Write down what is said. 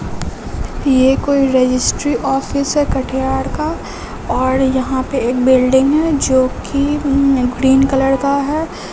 यह कोई registry office है कटिहार का और यहां पे एक बिल्डिंग है जो कि ग्रीन कलर का है।